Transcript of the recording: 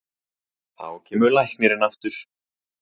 Þá kemur læknirinn aftur.